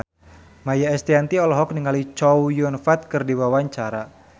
Maia Estianty olohok ningali Chow Yun Fat keur diwawancara